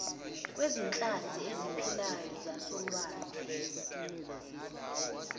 kwezinhlanzi eziphilayo zasolwandle